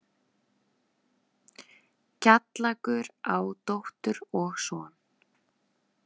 Kjallakur á dóttur og son.